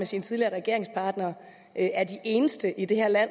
sine tidligere regeringspartnere er de eneste i det her land